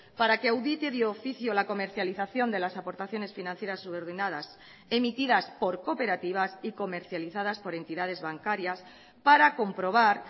para que audite de oficio la comercialización de las aportaciones financieras subordinadas emitidas por cooperativas y comercializadas por entidades bancarias para comprobar